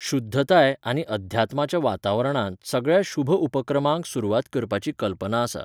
शुध्दताय आनी अध्यात्माच्या वातावरणांत सगळ्या शुभ उपक्रमांक सुरवात करपाची कल्पना आसा.